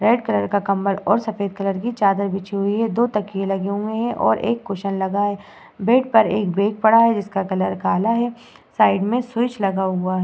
Red colour का कम्बल और सफेद कलर की चादर बिछी हुई है। दो तकिये लगे हुए हैं और एक कुशन लगा हुआ है। बेड पर एक बेग पड़ा है। जिसका कलर काला है। साइड में स्विच लगा हुआ है।